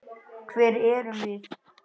Hver erum við?